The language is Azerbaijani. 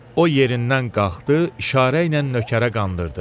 O yerindən qalxdı, işarə ilə nökərə qandırdı.